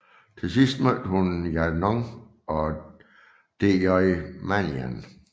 Til sidst mødte hun Yanou og DJ Manian